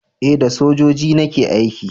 eh da sojoji nake aiki.